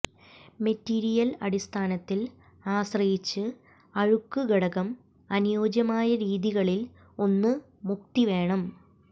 material അടിസ്ഥാനത്തിൽ ആശ്രയിച്ച് അഴുക്ക് ഘടകം അനുയോജ്യമായ രീതികളിൽ ഒന്ന് മുക്തി വേണം